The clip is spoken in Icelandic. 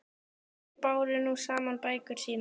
Þeir báru nú saman bækur sínar.